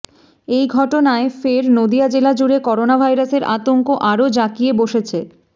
এই ঘটনায় ফের নদিয়া জেলা জুড়ে করোনা ভাইরাসের আতঙ্ক আরও জাঁকিয়ে বসেছে